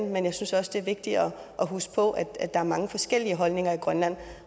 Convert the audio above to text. men jeg synes også det er vigtigt at huske på at der er mange forskellige holdninger i grønland